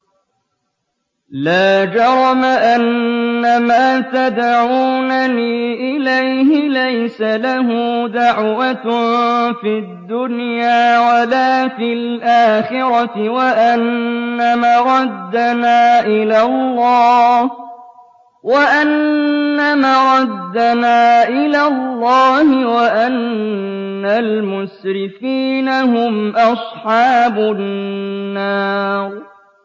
لَا جَرَمَ أَنَّمَا تَدْعُونَنِي إِلَيْهِ لَيْسَ لَهُ دَعْوَةٌ فِي الدُّنْيَا وَلَا فِي الْآخِرَةِ وَأَنَّ مَرَدَّنَا إِلَى اللَّهِ وَأَنَّ الْمُسْرِفِينَ هُمْ أَصْحَابُ النَّارِ